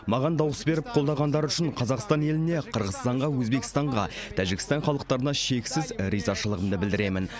маған дауыс беріп қолдағандары үшін қазақстан еліне қырғызстанға өзбекстанға тәжікстан халықтарына шексіз ризашылығымды білдіремін